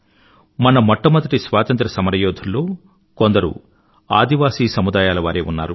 మన మొట్టమొదటి స్వాతంత్ర్యసమరయోధుల్లో కొందరు ఆదివాసి తెగల వారే ఉన్నారు